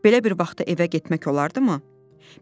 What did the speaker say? Belə bir vaxt evə getmək olardımı?